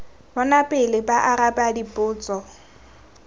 bona pele ba araba dipotso